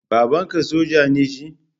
Babanka soja ne shi?